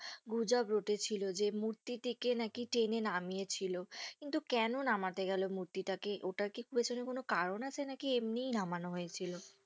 গুজব রটে ছিল যে মূর্তিটিকে নাকি টেনে নামিয়ে ছিল। কিন্তু কেনো নামাতে গেল মূর্তিটাকে ওটার কি পেছনে কোনো কারন আছে? নাকি এমনি নামানো হয়েছিল?